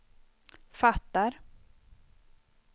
fattar